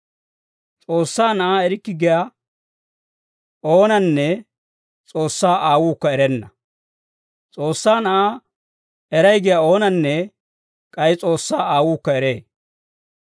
S'oossaa Na'aa erikke giyaa oonanne S'oossaa Aawuukka erenna; S'oossaa Na'aa eray giyaa oonanne k'ay S'oossaa Aawuukka eree.